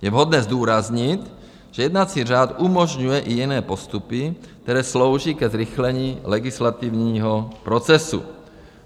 Je vhodné zdůraznit, že jednací řád umožňuje i jiné postupy, které slouží ke zrychlení legislativního procesu.